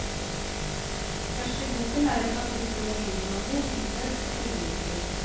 Først i boken er det et kapittel om olivenolje, hvitløk og krydderurter.